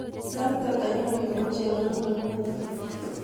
Sait ata eng olin bo cherongo nguno